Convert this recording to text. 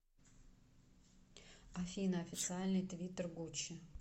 афина официальный твиттер гуччи